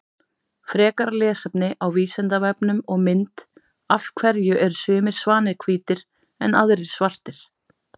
Frekara lesefni á Vísindavefnum og mynd Af hverju eru sumir svanir hvítir en aðrir svartir?